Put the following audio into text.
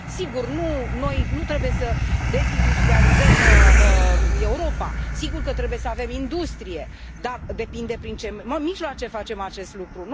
Sigur, noi nu trebuie să dezindustrializăm Europa. Sigur că trebuie să avem industrie, dar depinde prin ce mijloace facem acest lucru.